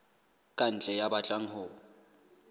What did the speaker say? ka ntle ya batlang ho